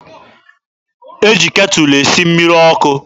E ji ketụlụ esi mmiri ọkụ.